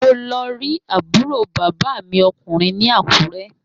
Mo lọ rí àbúrò bàbá mi ọkùnrin ní Àkúrẹ́